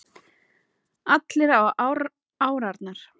Allir á árarnar